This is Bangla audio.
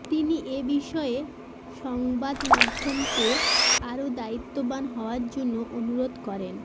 তিনি এ বিষয়ে সংবাদমাধ্যমকে আরও দায়িত্ববান হওয়ার জন্য অনুরোধ করেন